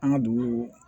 An ka dugu